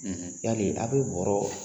yali a' bɛ bɔrɔ